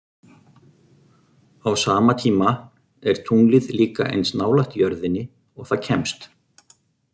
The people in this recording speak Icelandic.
Á sama tíma er tunglið líka eins nálægt jörðinni og það kemst.